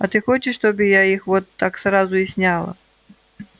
а ты хочешь чтобы я их вот так сразу и сняла